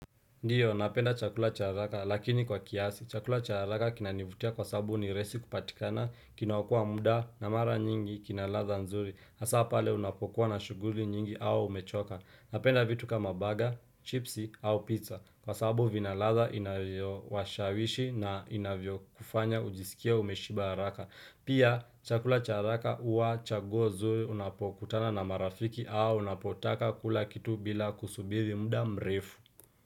Ndiyo, napenda chakula cha haraka, lakini kwa kiasi. Chakula cha araka kinanivutia kwa sabu ni raisi kupatikana, kinaokoa muda, na mara nyingi, kina ladha nzuri. Asa pale unapokuwa na shuguli nyingi au umechoka. Napenda vitu kama baga, chipsi au pizza. Kwa sabu vina ladha inayo washawishi na inavyo kufanya ujisikie umeshiba haraka. Pia, chakula cha haraka uwa chaguo zuri unapokutana na marafiki au unapotaka kula kitu bila kusubiri muda mrefu.